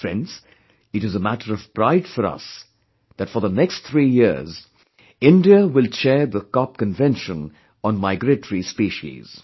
Friends, it is a matter of pride for us that for the next three years, India will chair the COP convention on migratory species